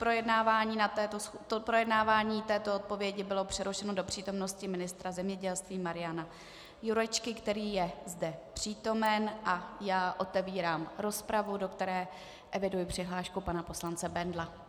Projednávání této odpovědi bylo přerušeno do přítomnosti ministra zemědělství Mariana Jurečky, který je zde přítomen, a já otevírám rozpravu, do které eviduji přihlášku pana poslance Bendla.